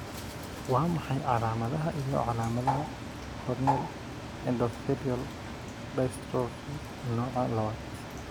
Waa maxay calaamadaha iyo calaamadaha Corneal endothelial dystrophy nooca lawad?